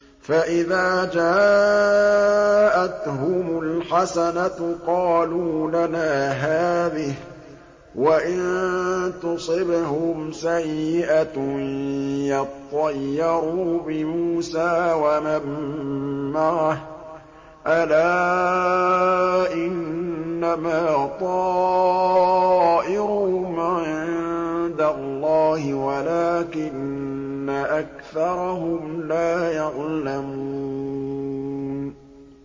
فَإِذَا جَاءَتْهُمُ الْحَسَنَةُ قَالُوا لَنَا هَٰذِهِ ۖ وَإِن تُصِبْهُمْ سَيِّئَةٌ يَطَّيَّرُوا بِمُوسَىٰ وَمَن مَّعَهُ ۗ أَلَا إِنَّمَا طَائِرُهُمْ عِندَ اللَّهِ وَلَٰكِنَّ أَكْثَرَهُمْ لَا يَعْلَمُونَ